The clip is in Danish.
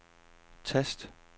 tast